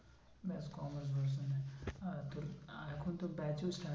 ব্যাস আর তোর এখন তো batch ও